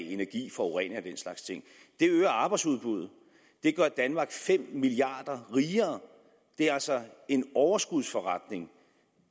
energi forurening slags ting det øger arbejdsudbuddet det gør danmark fem milliard kroner rigere det er altså en overskudsforretning